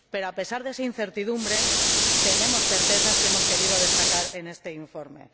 Pero, a pesar de esa incertidumbre, tenemos certezas que hemos querido destacar en este informe.